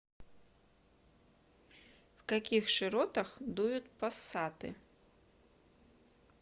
в каких широтах дуют пассаты